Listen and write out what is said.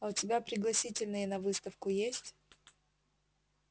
а у тебя пригласительные на выставку есть